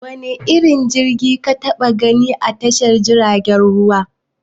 Wane irin jirgi ka taɓa gani a tashar jirgin ruwa?